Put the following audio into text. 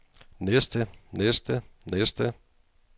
næste næste næste